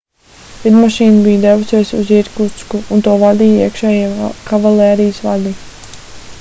lidmašīna bija devusies uz irkutsku un to vadīja iekšējie kavalērijas vadi